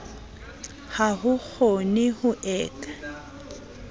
ha ho kgoneho e ka